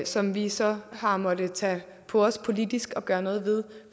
som vi så har måttet tage på os politisk at gøre noget ved